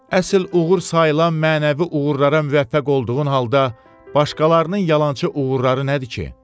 Əsil uğur sayılan mənəvi uğurlara müvəffəq olduğun halda başqalarının yalançı uğurları nədir ki?